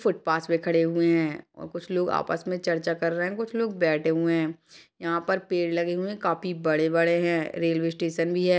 Footpath में खड़े हुए हैऔर कुछ लोग आपस में चर्चा कर रहे है कुछ लोग बैठे हुए है यहाँ पर पेड़ लगे हुए हैं काफी बड़े-बड़े हैं रेलवे स्टेशन भी है।